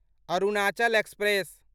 Arunachal express